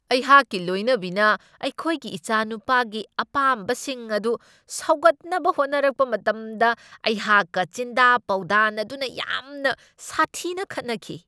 ꯑꯩꯍꯥꯛꯀꯤ ꯂꯣꯏꯅꯕꯤꯅ ꯑꯩꯈꯣꯏꯒꯤ ꯏꯆꯥꯅꯨꯄꯥꯒꯤ ꯑꯄꯥꯝꯕꯁꯤꯡ ꯑꯗꯨ ꯁꯧꯒꯠꯅꯕ ꯍꯣꯠꯅꯔꯛꯄ ꯃꯇꯝꯗ ꯑꯩꯍꯥꯛꯀ ꯆꯤꯟꯗꯥ ꯄꯥꯎꯗꯥꯅꯗꯨꯅ ꯌꯥꯝꯅ ꯁꯥꯊꯤꯅ ꯈꯠꯅꯈꯤ ꯫